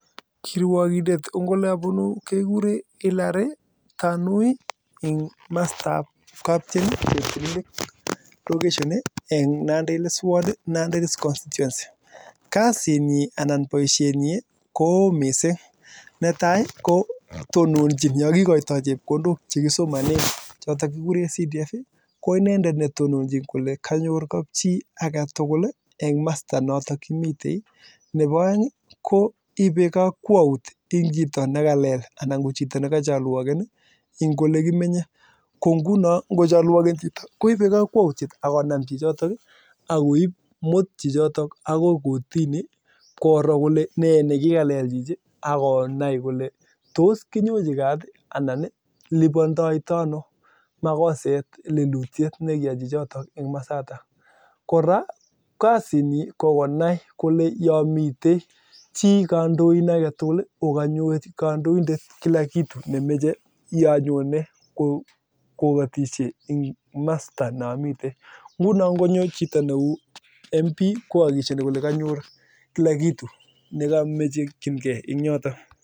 Kiruiwokindet kekuree Hillary enga mastab kaptien cheptililik location eng nandi hills ward kasit nyii kotonochin yakikotoi chepkondok chekisomanee chotok kekuree CDF akoibei kakwautiet kocholwokenjin chitoo akonam chichotok akumut kotini koraa kokonai kolee ngomii chii kandoin kanyor kila kitu yanyonee